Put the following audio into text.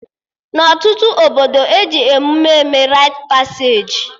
Na ọtụtụ obodo, eji emụme eme rait paseji